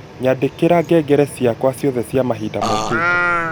yaandikira ngengere ciakwa ciothe cia mahinda mokĩte